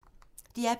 DR P2